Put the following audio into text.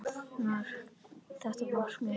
Þetta markmið hefur náðst.